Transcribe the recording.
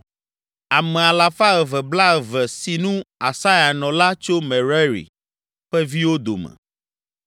Ame alafa eve blaeve (220) si nu, Asaya nɔ la tso Merari ƒe viwo dome.